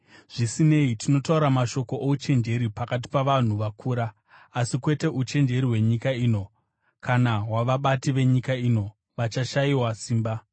Zvisinei, tinotaura mashoko ouchenjeri pakati pavanhu vakura, asi kwete uchenjeri hwenyika ino, kana hwavabati venyika ino vachashayiwa simba.